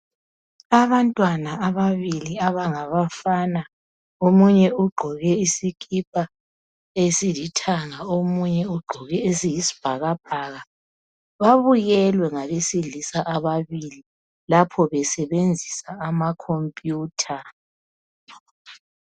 Abantwana ababili abangabafana, omunye ugqoke isikipa esilithanga, omunye ugqoke esiyisibhakabhaka . Babukelwe ngabesilisa ababili lapho besebenzisa amakhompiyutha.